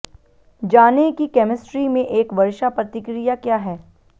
जानें कि कैमिस्ट्री में एक वर्षा प्रतिक्रिया क्या है